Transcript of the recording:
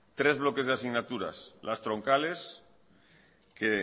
tres bloques de asignaturas las troncales